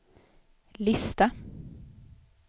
lista